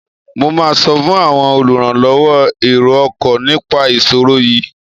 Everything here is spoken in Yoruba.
Mo máa sọ fún àwọn olùrànlọwọ èrò ọkọ̀ nipa ìṣòro yiìí.